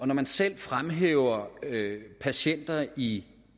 når man selv fremhæver patienter i